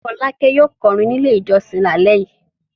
Fọ́lákẹ́ yóò kọrin nílé ìjọsìn lálẹ́ yìí.